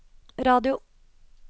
radio